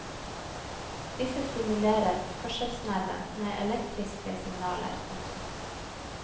Disse stimulerer hørselsnerven med elektriske signaler. punktum